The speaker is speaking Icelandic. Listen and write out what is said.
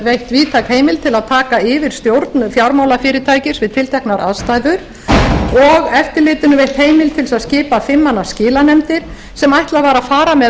veitt víðtæk heimild til að taka yfir stjórn fjármálafyrirtækis við tilteknar aðstæður og eftirlitinu veitt heimild til þess að skipa fimm manna skilanefndir sem ætlað var að fara með